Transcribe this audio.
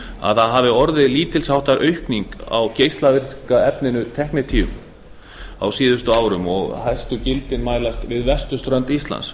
að það hafi orðið lítils háttar aukning á geislavirka efninu tecnitium á síðustu árum og hættugildi mælast við vesturströnd íslands